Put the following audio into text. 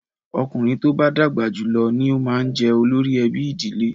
Ọkùnrin tó bá dàgbà jù lọ ni ó máa ń jẹ olórí ẹbí ìdílé.